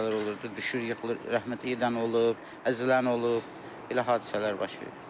Elə hadisələr olurdu, düşür yıxılır, rəhmətliyidən olub, əzilən olub, elə hadisələr baş verib.